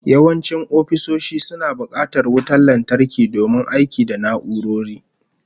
Yawancin ofisoshi suna bukatar wutar lantarki domin aiki da na'urori